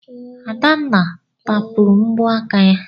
Adanna tapụrụ mbọ aka ya.